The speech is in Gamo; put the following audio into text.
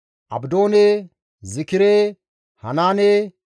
Abdoone, Zikire, Hanaane,